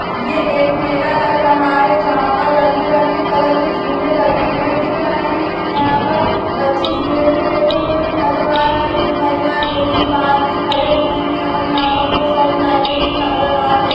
ये एक मेला लग रहा है जहाँ पे रंग बिरंगे कलर के झूले लगे हुए दिख रहें हैं यहाँ पर बच्चे झूले में बैठे हुए भी नजर आ रहें हैं कुछ महिलाएं पुरुष बहार भी खड़े हुए हैं और यहाँ पर बहोत सारी लाइटे भी नजर आ रही --